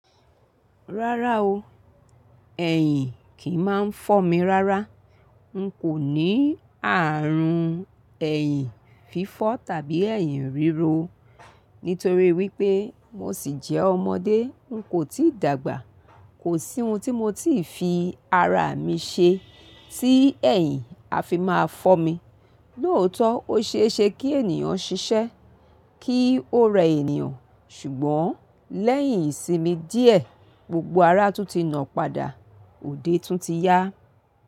Rárá o, ẹ̀yìn kì í máa ń fọ́ mi rárá. N kò ní ààrùn ẹ̀yìn fífọ́ tàbí ẹ̀yìn ríro. Nítorí wípé mo sì jẹ́ ọmọdé n kò tíì dàgbà. Kò sí ohun tíi mo ti fi ara mi ṣe tí ẹ̀yìn a fi máa fọ́ mi. Lóótọ́ ó ṣe é ṣe kí ènìyàn ṣiṣẹ́ kí ó rẹ ènìyàn ṣùgbọ́n lẹ́yìn ìsinmi díẹ̀ gbogbo ara a tún ti nà padà, òde tún ti yá.